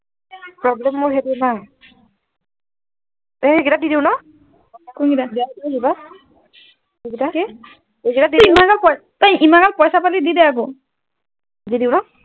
problame মোৰ সেইটোত নাই এই গিটা দি দিও ন কোন গিটা এই গিটা কি ইমান গাল তই ইমান গাল পইছা পালি দিদে আকৌ দি দিও ন